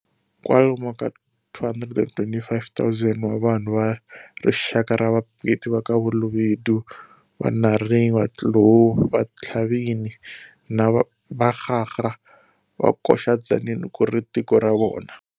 Kwalomu ka 225 000 wa vanhu va rixaka ra vapedi vaka BaLobedu, BaNareng, Batlou, Bathlabin na BaKgaga va koxa Tzaneen kuri tiko ra vona.